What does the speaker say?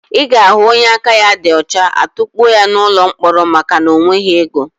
Ị ga-ahụ onye aka ya dị ọcha, a tukpuo ya n'ụlọ mkpọrọ maka na ọ nweghị ego.